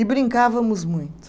E brincávamos muito.